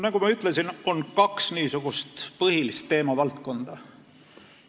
Nagu ma ütlesin, on põhilisi teemavaldkondi kaks.